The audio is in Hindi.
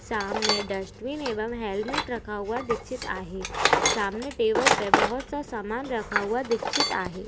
सामने डस्ट्बिन एवम हेलमेट रखा हुआ दिक्छित आहे सामने टेबल पे बहुत सा समान रखा हुआ दिक्छित आहे.